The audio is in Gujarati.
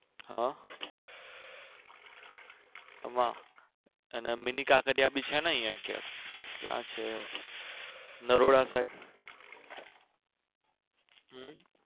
હા અમાં અને mini કાંકરિયા બી છે ને અહીંયા ક્યાંક ક્યાં છે નરોડા side.